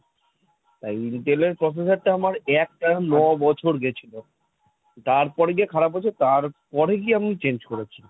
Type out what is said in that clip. তাই intel এর processor টা আমার একটানা ন বছর গেছিল তারপরে গিয়ে খারাপ হয়েছে, তারপরে কি আমি change করেছি।